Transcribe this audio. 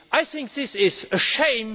I think this is a shame.